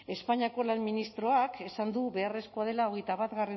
espainiako lan ministroak esan du beharrezkoa dela hogeita bat